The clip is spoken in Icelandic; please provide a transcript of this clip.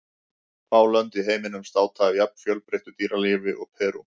Fá lönd í heiminum státa af jafn fjölbreyttu dýralífi og Perú.